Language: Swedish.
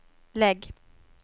lägg